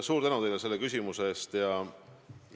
Suur tänu teile selle küsimuse eest!